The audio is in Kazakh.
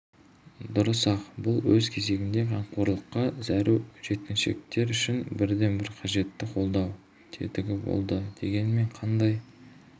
дұрыс-ақ бұл өз кезегінде қамқорлыққа зәру жеткіншіктер үшін бірден бір қажетті қолдау тетігі болды дегенмен қандай